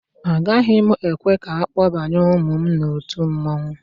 Agaghị m ekwe ka akpọbaye ụmụ m n'otu mmanwụ